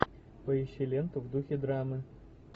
поищи ленту в духе драмы